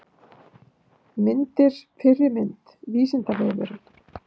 Myndir Fyrri mynd: Vísindavefurinn.